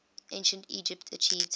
ancient egypt achieved